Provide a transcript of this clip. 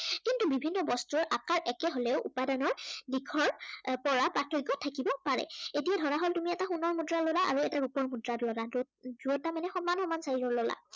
কিন্তু বিভিন্ন বস্তুৰ আকাৰ একে হলেও উপাদানৰ দিশৰ পৰা প্ৰাৰ্থক্য় থাকিব পাৰে। এতিয়া ধৰা হল, তুমি এটা সোনৰ মুদ্ৰা ল'লা আৰু এটা ৰূপৰ মুদ্ৰা ললা, দুয়োটা মানে সমান সমান size ৰ ল'লা।